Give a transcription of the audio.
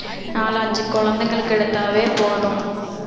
நாலஞ்சு குழந்தைங்களுக்கு எடுத்தாவே போதும்